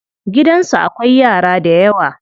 Gidansu akwai yara dayawa.